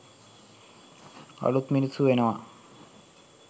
අළුත් මිනිස්සු වෙනවා.